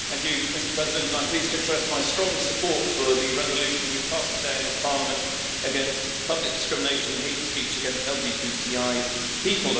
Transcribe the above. Mr President, I am pleased to express my strong support for the resolution we've passed today in this Parliament against public discrimination and hate speech against LGBTI people.